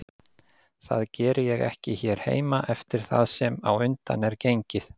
Það geri ég ekki hér heima eftir það sem á undan er gengið.